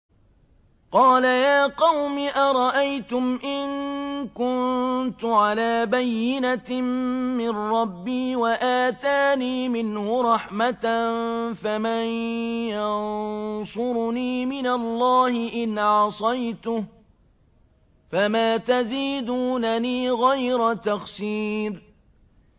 قَالَ يَا قَوْمِ أَرَأَيْتُمْ إِن كُنتُ عَلَىٰ بَيِّنَةٍ مِّن رَّبِّي وَآتَانِي مِنْهُ رَحْمَةً فَمَن يَنصُرُنِي مِنَ اللَّهِ إِنْ عَصَيْتُهُ ۖ فَمَا تَزِيدُونَنِي غَيْرَ تَخْسِيرٍ